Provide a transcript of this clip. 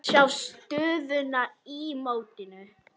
Sjá stöðuna í mótinu.